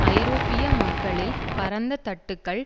ஐரோப்பிய மக்களில் பரந்த தட்டுக்கள்